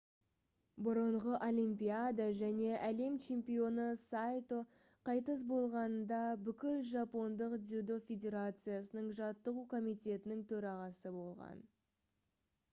бұрынғы олимпиада және әлем чемпионы сайто қайтыс болғанында бүкіл жапондық дзюдо федерациясының жаттығу комитетінің төрағасы болған